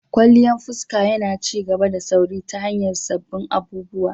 Kwalliyan fuska yana ci gaba da sauri ta hanyar sabbin abubuwa.